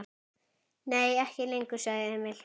Nei, ekki lengur, sagði Emil.